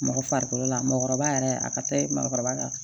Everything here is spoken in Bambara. Mɔgɔ farikolo la mɔgɔkɔrɔba yɛrɛ a ka ɲi mɔgɔkɔrɔba